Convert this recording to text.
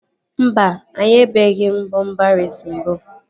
Mba, anyabeghi m bọmpa reesi mbụ